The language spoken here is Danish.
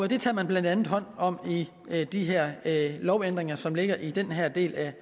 det tager man blandt andet hånd om i de her lovændringer som ligger i den her del af